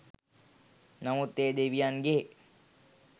නමුත් ඒ දෙවියන්ගේ